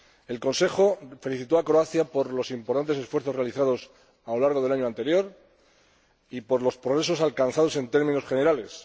El Consejo felicitó a Croacia por los importantes esfuerzos realizados a lo largo del año anterior y por los progresos alcanzados en términos generales.